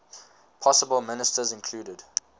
possible ministers included